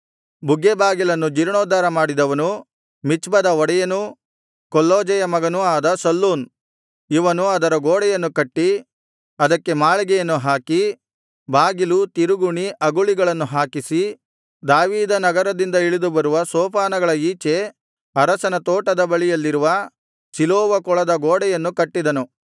ಬುಗ್ಗೆ ಬಾಗಿಲನ್ನು ಜೀರ್ಣೋದ್ಧಾರ ಮಾಡಿದವನು ಮಿಚ್ಪದ ಒಡೆಯನೂ ಕೊಲ್ಹೋಜೆಯ ಮಗನೂ ಆದ ಶಲ್ಲೂನ್ ಇವನು ಅದರ ಗೋಡೆಯನ್ನು ಕಟ್ಟಿ ಅದಕ್ಕೆ ಮಾಳಿಗೆಯನ್ನು ಹಾಕಿ ಬಾಗಿಲು ತಿರುಗುಣಿ ಅಗುಳಿಗಳನ್ನು ಹಾಕಿಸಿ ದಾವೀದ ನಗರದಿಂದ ಇಳಿದು ಬರುವ ಸೋಪಾನಗಳ ಈಚೆ ಅರಸನ ತೋಟದ ಬಳಿಯಲ್ಲಿರುವ ಸಿಲೋವ ಕೊಳದ ಗೋಡೆಯನ್ನು ಕಟ್ಟಿದನು